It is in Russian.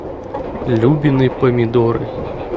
любины помидоры